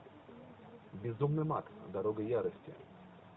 безумный макс дорога ярости